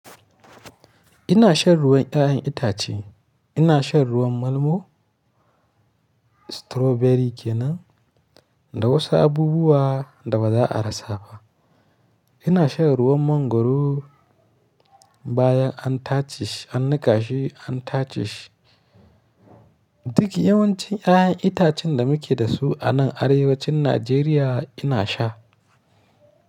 Ina shan ruwan 'ya'yan itace. Ina shan ruwan malmo, strawberry kenan da wasu abubuwa da baza a rasa ba. Ina shan ruwan mangoro bayan an tace shi, an niƙashe, an tace shi. Duka yawancin 'ya'yan itacen da muke da su a nan arewacin Najeriya ina sha.